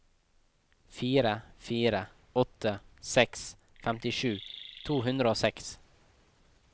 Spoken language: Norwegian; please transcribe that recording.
fire fire åtte seks femtisju to hundre og seks